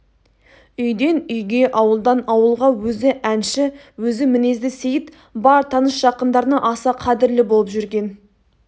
үйден үйге ауылдан ауылға өзі әнші өзі мінезді сейіт бар таныс-жақындарына аса қадірлі боп жүрген